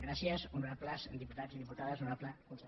gràcies honorables diputats i diputades honorable conseller